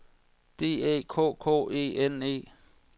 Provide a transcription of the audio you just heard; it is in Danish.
D Æ K K E N E